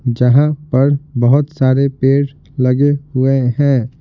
जहां पर बहुत सारे पेड़ लगे हुए हैं।